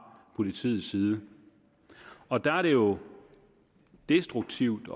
politiets side og der er det jo destruktivt